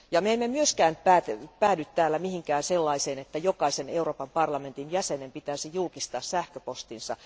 Me emme myöskään päädy täällä sellaiseen lopputulokseen, että jokaisen Euroopan parlamentin jäsenen pitäisi julkistaa sähköpostinsa.